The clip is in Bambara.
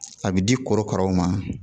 A bɛ di korokaraw ma